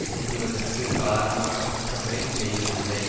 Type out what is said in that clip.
குன்றுவதற்கு காரணமான குற்றங்களை செய்வதில்லை